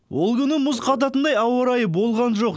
ол күні мұз қататындай ауа райы болған жоқ